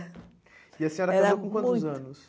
E a senhora casou com quantos anos? Era muito